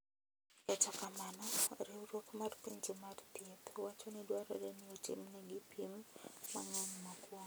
Kata kamano Riwruok mar Pinje mar Thieth wacho ni dwarore ni otimnegi pim mang’eny mokuongo.